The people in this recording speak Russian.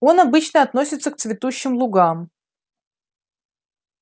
он обычно относится к цветущим лугам